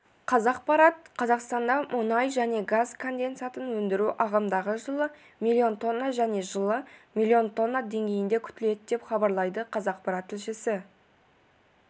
қазақпарат қазақстанда мұнай және газ конденсатын өндіру ағымдағы жылы миллион тонна және жылы миллион тонна деңгейінде күтіледі деп хабарлайды қазақпарат тілшісі